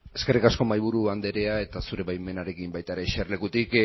eskerrik asko mahaiburu andrea eta zure baimenarekin eserlekutik